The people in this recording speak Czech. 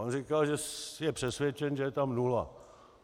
On říkal, že je přesvědčen, že je tam nula.